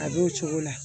A b'o cogo la